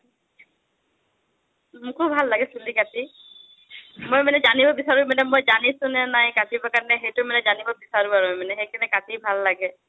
মোকো ভাল লাগে চুলি কাটি, মই মানে জানিব বিচাৰো, মই মানে জানিছো নে নাই কাটিবৰ কাৰণে। সেইটো মানে জানিব বিচাৰো, আৰু সেইকাৰনে মানে কাটি ভাল লাগে।